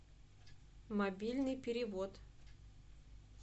мобильный перевод